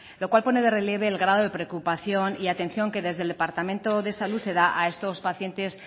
lo cual pone de relieve el grado de preocupación y atención que desde el departamento de salud se da a estos pacientes